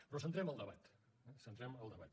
però centrem el debat eh centrem el debat